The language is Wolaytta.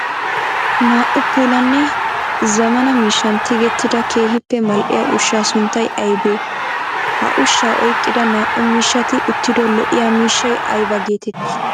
Naa''u puulanne zamana miishshan tigettida keehippe mal'iyaa ushsha sunttay aybbe? Ha ushsha oyqqida naa''u miishshatti uttido lo'iya miishshay aybba geetetti?